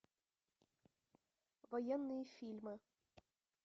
военные фильмы